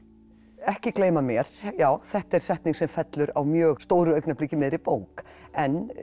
ekki gleyma mér já þetta er setning sem fellur á mjög stóru augnabliki í miðri bók en